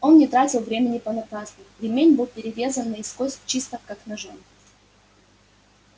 он не тратил времени понапрасну ремень был перерезан наискось чисто как ножом